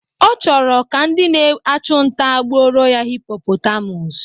Ọ chọrọ ka ndị na-achụ nta gbuoro ya hipopotamus